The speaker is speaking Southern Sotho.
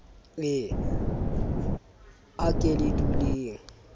e a ke le duleng